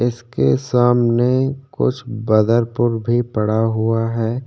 इसके सामने कुछ बदरपुर भी पड़ा है।